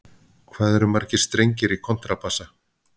Hvað eru margir strengir í kontrabassa?